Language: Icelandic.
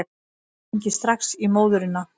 Ég hringi strax í móðurina.